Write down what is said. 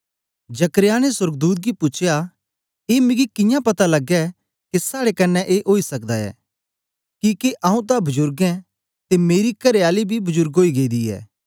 जकर्याह ने सोर्गदूत गी पूछया ए मिगी कियां पता लगे के साडें कन्ने ए ओई सकदा ए किके आऊँ तां बुजुर्ग ऐं ते मेरी करेआली बी बुजुर्ग ओई गेदी ऐ